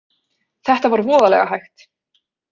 Þetta var voðalega hægt.